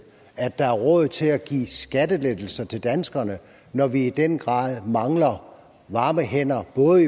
at der er råd til at give skattelettelser til danskerne når vi i den grad mangler varme hænder både